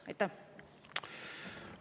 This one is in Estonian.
Aitäh!